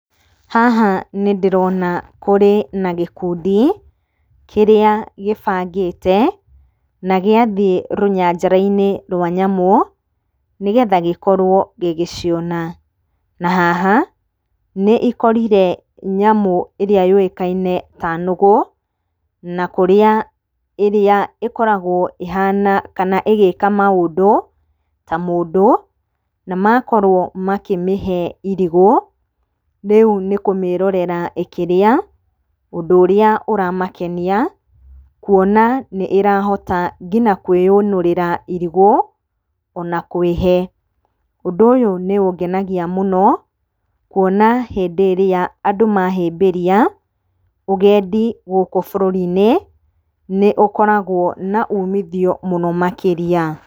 Haha nĩndĩrona kũrĩ na gĩkundi kĩrĩa gĩbangĩte, na gĩathiĩ rũnyanjara-inĩ rwa nyamũ nĩgetha gĩkorwo gĩgĩciona. Na haha nĩikorire nyamũ ĩrĩa yũĩkaine ta nũgũ, na kũrĩa, ĩrĩa ĩkoragwo ĩhana, kana ĩgĩka maũndũ ta mũndũ. Na makorwo makĩmĩhe irigũ, rĩu nĩkũmĩrorera ĩkĩrĩa. Ũndũ ũrĩa ũramakenia, kuona nĩ-ĩrahota nginya kwĩũnũrĩra irigũ ona kwĩhe. Ũndũ ũyũ nĩũngenagia mũno, kuona hĩndĩ ĩrĩa andũ mahĩmbĩria ũgendi gũkũ bũrũri-inĩ nĩũkoragwo na umithio mũno makĩria.